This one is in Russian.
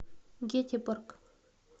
гетеборг